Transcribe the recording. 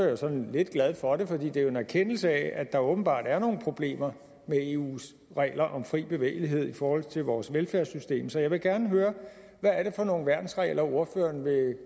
jeg sådan lidt glad for for det er jo en erkendelse af at der åbenbart er nogle problemer med eus regler om fri bevægelighed i forhold til vores velfærdssystem så jeg vil gerne høre hvad er det for nogle værnsregler ordføreren vil